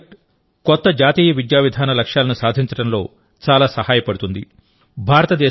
ఈ ప్రాజెక్టు కొత్త జాతీయ విద్యా విధాన లక్ష్యాలను సాధించడంలో చాలా సహాయపడుతుంది